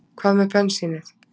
Hvað með bensínið?